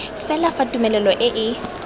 fela fa tumelelo e e